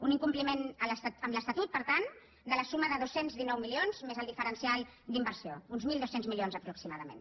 un incompliment amb l’estatut per tant de la suma de dos cents i dinou milions més el diferencial d’inversió uns mil dos cents milions aproximadament